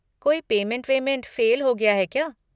कोई पेमेंट वेमेंट फ़ेल हो गया है क्या?